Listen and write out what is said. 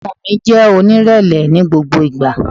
Ọmọ mi, jẹ́ onírẹ̀lẹ̀ ni gbogbo ìgbà!